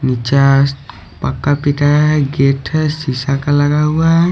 नीचे पक्का पिता है गेट है शीशा का लगा हुआ है।